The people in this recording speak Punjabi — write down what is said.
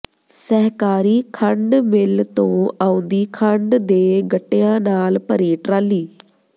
ਸਹਿਕਾਰੀ ਖੰਡ ਮਿੱਲ ਤੋਂ ਆਉਂਦੀ ਖੰਡ ਦੇ ਗੱਟਿਆਂ ਨਾਲ ਭਰੀ ਟਰਾਲੀ